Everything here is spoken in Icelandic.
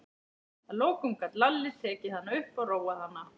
Að lokum gat Lalli tekið hana upp og róað hana.